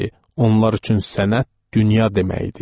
Onlar üçün sənət dünya demək idi.